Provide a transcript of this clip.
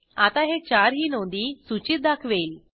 आता हे चारही नोंदी सूचीत दाखवेल